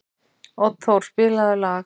Oddþór, spilaðu lag.